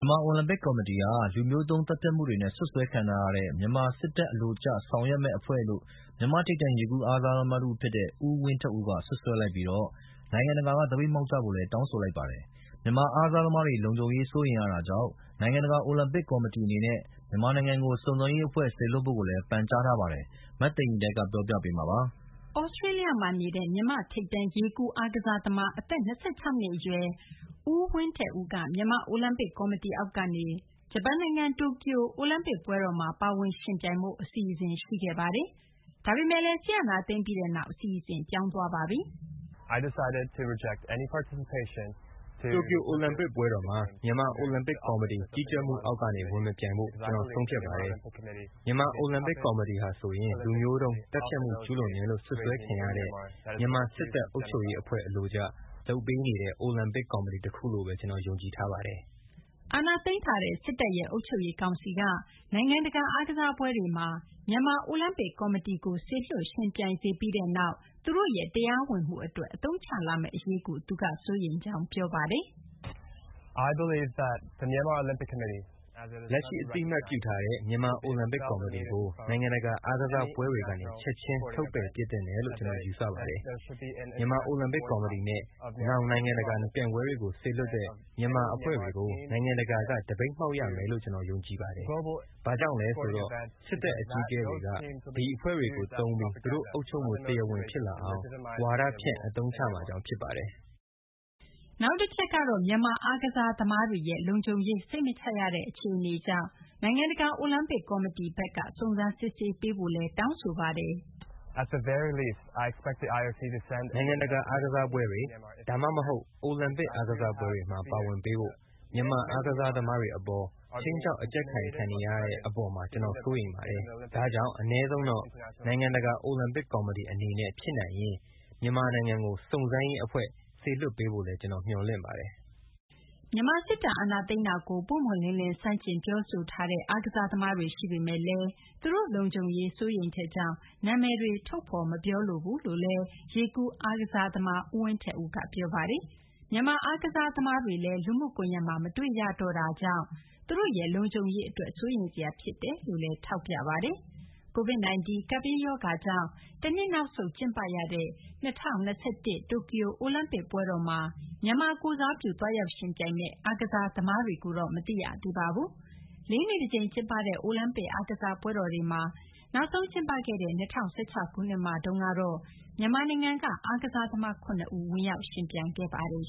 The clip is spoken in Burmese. မာ အိုလံပစ် ကော်မတီဟာ လူမျိုးတုံး သတ်ဖြတ်မှု စွပ်စွဲခံထားရတဲ့ မြန်မာ စစ်တပ် အလိုကျ ဆောင်ရွက်မယ့် အဖွဲ့လို့ မြန်မာ့ ထိပ်တန်း ရေကူး အားကစား သမား ဦးဝင်းထက်ဦးက စွပ်စွဲလိုက်ပြီး နိုင်ငံတကာက သပိတ်မှောက်ကြဖို့လည်း တောင်းဆိုလိုက်ပါတယ်။ မြန်မာ အားကစားသမားတွေ လုံခြုံရေး စိုးရိမ်ရတာကြောင့် နိုင်ငံတကာ အိုလံပစ် ကော်မတီ အနေနဲ့ မြန်မာနိုင်ငံကို စုံစမ်းရေး အဖွဲ့ စေလွှတ်ဖို့လည်း ပန်ကြားထားပါတယ်။ မသိင်္ဂ ီထိုက် ပြောပြပေးမှာပါ။ သြစတေးလျမှာ နေတဲ့ မြန်မာ့ ထိပ်တန်း ရေကူး အားကစားသမား အသက် ၂၆ နှစ် အရွယ် ဦးဝင်းထက်ဦးက မြန်မာ အိုလံပစ် ကော်မတီအောက်ကနေ ဂျပန်နိုင်ငံ တိုကျို အိုလံပစ် ပွဲတော်မှာ ပါဝင် ယှဉ်ပြိုင်ဖို့ အစီအစဉ် ရှိခဲ့ပါတယ်။ ဒါပေမယ့်လည်း စစ်အာဏာသိမ်းပြီးနောက် အစီအစဉ် ပြောင်းသွားပါပြီ။ “တိုကျို အိုလံပစ် ပွဲတော်မှာ မြန်မာ အိုလံပစ် ကော်မတီ ကြီးကြပ်မှုအောက်ကနေ ဝင် မပြိုင်ဖို့ ကျနော် ဆုံးဖြတ်ပါတယ်။ မြန်မာ အိုလံပစ် ကော်မတီဟာဆိုရင် လူမျိုးတုန်း သတ်ဖြတ်မှု ကျူးလွန်တယ်လို့ စွပ်စွဲခံရတဲ့ မြန်မာ စစ်တပ် အုပ်ချုပ်ရေး အဖွဲ့ အလိုကျ လုပ်နေတဲ့ အိုလံပစ် ကော်မတီ တခုလို့ဘဲ ကျနော် ယုံကြည်ထားပါတယ်။” အာဏာသိမ်းထားတဲ့ စစ်တပ်ရဲ့ အုပ်ချုပ်ရေး ကောင်စီက နိုင်ငံတကာ အားကစားပွဲတွေမှာ မြန်မာ အိုလံပစ် ကော်မတီကို စေလွှတ် ယှဉ်ပြိုင်စေပြီးနောက် သူတို့ရဲ့ တရားဝင်မှုအတွက် အသုံးချလာမယ့် အရေးကိုလည်း သူက စိုးရိမ်ကြောင်း ပြောပါတယ်။ “လက်ရှိ အသိအမှတ်ပြုထားတဲ့ မြန်မာ အိုလံပစ် ကော်မတီကို နိုင်ငံတကာ အားကစားပွဲတွေကနေ ချက်ချင်း ထုတ်ပယ်ပစ်သင့်တယ်လို့ ကျနော် ယူဆပါတယ်။ နောက် မြန်မာ အိုလံပစ် ကော်မတီ၊ နောက် နိုင်ငံတကာ ပြိုင်ပွဲတွေကို စေလွှတ်တဲ့ မြန်မာ အဖွ့ဲတွေကို နိုင်ငံတကာက သပိတ်မှောက် ရမယ်လို့ ကျနော် ယုံကြည်ပါတယ်။ ဘာကြောင့်လဲ ဆိုတော့ စစ်တပ် အကြီးအကဲတွေက ဒီအဖွဲ့တွေကို သုံးပြီး သူတို့ အုပ်ချုပ်မှု တရားဝင် ဖြစ်လာအောင် ဝါဒဖြန့် အသုံးချမှာကြောင့် ဖြစ်ပါတယ်။” နောက်တချက်ကတော့ မြန်မာ အားကစားသမားတွေရဲ့ လုံခြုံရေး စိတ်မချရတဲ့ အခြေအနေကြောင့် နိုင်ငံတကာ အိုလံပစ် ကော်မတီဘက်က စုံစမ်းစစ်ဆေးပေးဖို့လည်း တောင်းဆိုပါတယ်။ “နိုင်ငံတကာ အားကစားပွဲတွေ ဒါမှမဟုတ်လည်း အိုလံပစ် အားကစားပွဲတွေမှာ ပါဝင်ပေးဖို့ မြန်မာ အားကစားသမားတွေ အပေါ် ခြိမ်းခြောက် အကြပ်ကိုင်ခံနေရတဲ့ အပေါ်မှာ ကျနော် စိုးရိမ်ပါတယ်။ ဒါကြောင့် အနည်းဆုံးတော့ နိုင်ငံတကာ အိုလံပစ် ကော်မတီ အနေနဲ့ ဖြစ်နိုင်ရင် မြန်မာနိုင်ငံကို စုံစမ်းရေး အဖွဲ့ စေလွှတ်ပေးဖို့လည်း ကျနော် မျှော်လင့်ပါတယ်။” မြန်မာ စစ်တပ် အာဏာသိမ်းတာကို ပွင့်ပွင့်လင်းလင်း ဆန့်ကျင် ပြောဆိုထားတဲ့ အားကစား သမားတွေ ရှိပေမယ့်လည်း သူတို့ လုံခြုံရေး စိုးရိမ်ချက်ကြောင့် နာမည်တွေ ထုတ်ဖော် မပြောလိုဘူးလို့လည်း ရေကူး အားကစား သမား ဦးဝင်းထက်ဦးက ပြောပါတယ်။ မြန်မာ အားကစား သမားတွေလည်း လူမှုကွန်ရက်မှာ မတွေ့ရတော့တဲ့ အကြောင်းနဲ့ သူတို့ လုံခြုံရေး အတွက် စိုးရိမ်စရာ ဖြစ်ကြောင်းလည်း ထောက်ပြပါတယ်။ COVID -19 ကပ်ဘေးရောဂါကြောင့် တနှစ် နောက်ဆုတ် ကျင်းပရတဲ့ ၂၀၂၁ တိုကျိုအိုလံပစ် ပွဲတော်မှာ မြန်မာကိုယ်စားပြု သွားရောက် ယှဉ်ပြိုင်မယ့် အားကစား သမားတွေကိုတော့ မသိရသေးပါဘူး။ ၄ နှစ် တကြိမ် ကျင်းပတဲ့ အိုလံပစ် အားကစားပွဲတော်တွေမှာ နောက်ဆုံး ကျင်းပခဲ့တဲ့ ၂၀၁၆ ခုနှစ်မှာတော့ မြန်မာနိုင်ငံက အားကစား သမား ၇ ဦး ဝင်ရောက် ယှဉ်ပြိုင်ခဲ့ပါတယ်